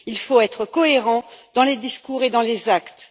Il faut être cohérent dans les discours et dans les actes.